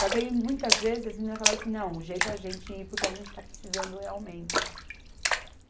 Só que aí, muitas vezes, as meninas falavam assim, não, o jeito é a gente ir porque a gente está precisando realmente.